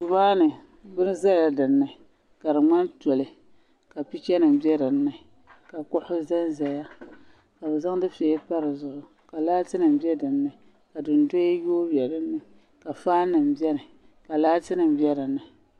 Duu maa ni bini za la din ni ka di ŋmani toli ka picha ni bɛ din ni ka kuɣusi zan zaya ka bi zaŋ dufɛya pa di zuɣu ka laati nim bɛ din ni ka dundoya yonyo ka faani nim bɛni ka laati nim bɛ dini.